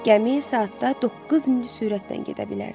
Gəmi saatda doqquz mil sürətlə gedə bilərdi.